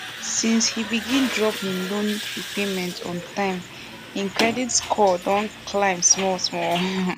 since he begin drop him loan repayment on time him credit score don dey climb small small